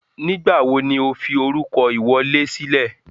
Nígbàwo ni o fi orúkọ ìwọlé sílẹ̀?